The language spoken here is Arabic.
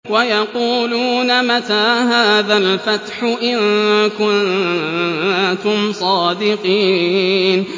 وَيَقُولُونَ مَتَىٰ هَٰذَا الْفَتْحُ إِن كُنتُمْ صَادِقِينَ